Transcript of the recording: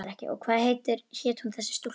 Og hvað hét hún þessi stúlka?